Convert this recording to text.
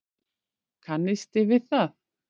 Kannisti við það!